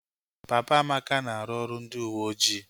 Papa Amaka na-arụ ọrụ ndị uweojii